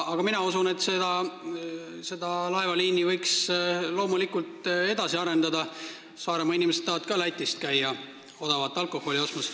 Aga mina usun, et seda laevaliini võiks loomulikult edasi arendada – Saaremaa inimesed tahavad ka käia Lätis odavat alkoholi ostmas.